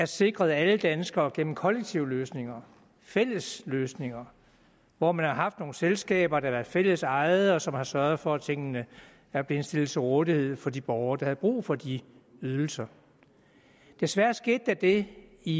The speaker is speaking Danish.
sikret af alle danskere gennem kollektive løsninger fælles løsninger hvor man har haft nogle selskaber der har været fællesejede og som har sørget for at tingene er blevet stillet til rådighed for de borgere der havde brug for de ydelser desværre skete der det i